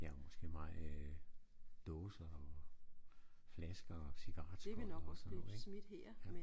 Ja og måske mange øh dåser og flasker og cigaretskodder og sådan noget ik